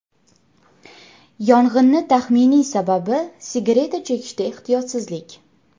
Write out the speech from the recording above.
Yong‘inni taxminiy sababi sigareta chekishda ehtiyotsizlik.